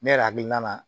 Ne yɛrɛ hakilina na